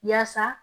Yaasa